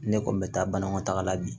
Ne kɔni bɛ taa banakɔtaga la bi